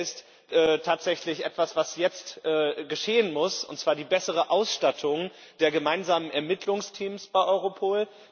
Das Eine ist tatsächlich etwas, was jetzt geschehen muss, und zwar die bessere Ausstattung der gemeinsamen Ermittlungsteams bei Europol.